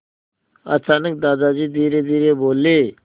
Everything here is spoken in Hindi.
अचानक दादाजी धीरेधीरे बोले